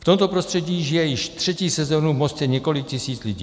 V tomto prostředí žije již třetí sezónu v Mostě několik tisíc lidí.